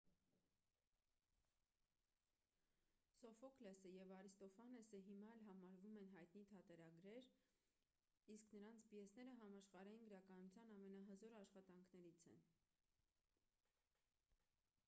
սոֆոկլեսը և արիստոֆանեսը հիմա էլ համարվում են հայտնի թատերագրեր իսկ նրանց պիեսները համաշխարհային գրականության ամենահզոր աշխատանքներից են